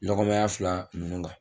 Lɔgɔmaɲa fila minnu kan